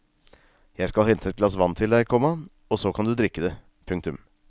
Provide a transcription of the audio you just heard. Jeg skal hente et glass til deg, komma og så kan du drikke det. punktum